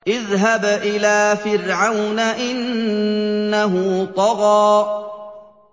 اذْهَبْ إِلَىٰ فِرْعَوْنَ إِنَّهُ طَغَىٰ